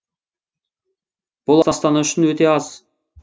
бұл астана үшін өте аз